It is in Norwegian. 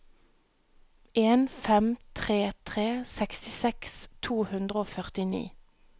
en fem tre tre sekstiseks to hundre og førtini